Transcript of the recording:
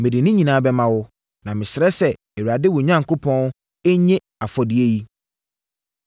Mede ne nyinaa bɛma wo, na mesrɛ sɛ, Awurade, wo Onyankopɔn nnye afɔdeɛ yi.”